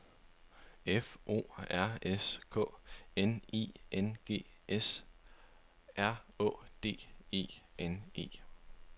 F O R S K N I N G S R Å D E N E